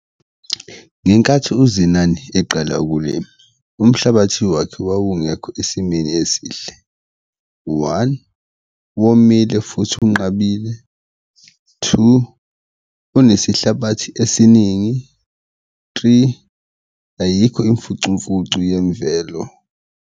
Ngenkathi uZenani eqala umhlabathi wakhe wawungekho esimeni esihle, one, womile futhi unqabile, two, unesihlabathi esiningi, three, ayikho imfucumfucu yemvelo.